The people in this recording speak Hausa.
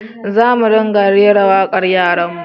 Za mu ringa rera wakar yaran mu